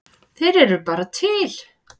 Þeir eru bara til.